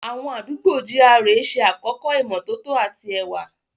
Àwọn àdúgbò GRA ṣe àkọ́kọ́ ìmọ́tótó àti ẹwà.